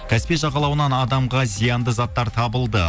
каспий жағалауынан адамға зиянды заттар табылды